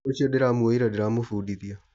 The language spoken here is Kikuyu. Ũcio ndĩramuoyire ndĩramũbudithia